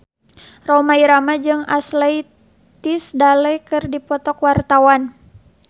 Rhoma Irama jeung Ashley Tisdale keur dipoto ku wartawan